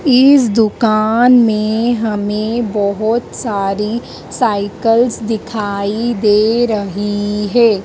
इस दुकान में हमें बहोत सारी साइकल्स दिखाई दे रहीं हैं।